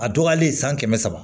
A dɔgɔyalen san kɛmɛ saba